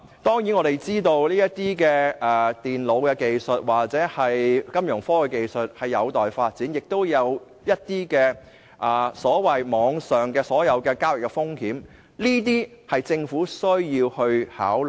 當然，我們知道電腦或金融科技技術有待發展，亦有一些所謂網上交易風險，這些是政府需要考慮的。